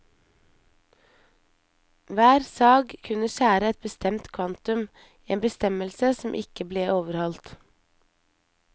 Hver sag kunne skjære et bestemt kvantum, en bestemmelse som ikke ble overholdt.